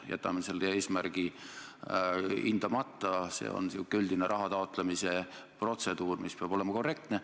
Jätame selle eesmärgi hindamata, tegu on üldise raha taotlemise protseduuriga, mida peab täitma korrektselt.